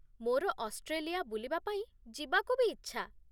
ମୋର ଅଷ୍ଟ୍ରେଲିଆ ବୁଲିବା ପାଇଁ ଯିବାକୁ ବି ଇଚ୍ଛା ।